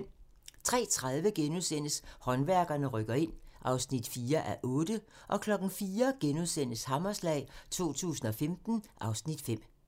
03:30: Håndværkerne rykker ind (4:8)* 04:00: Hammerslag 2015 (Afs. 5)*